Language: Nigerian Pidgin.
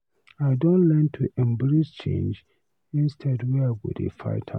I don learn to embrace change instead wey I go dey fight am.